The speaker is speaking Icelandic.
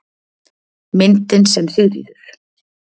Myndin sem Sigríður